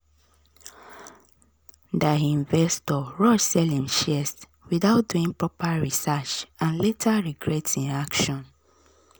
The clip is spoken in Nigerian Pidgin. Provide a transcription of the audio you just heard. the investor rush sell him shares without doing proper research and later regret the action.